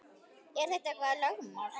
Er þetta eitthvað lögmál?